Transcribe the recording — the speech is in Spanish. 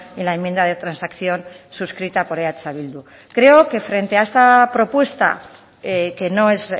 en la enmienda de transacción suscrita por eh bildu creo que frente a esta propuesta que no es